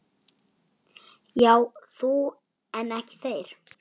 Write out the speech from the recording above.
Já þú en ekki þér!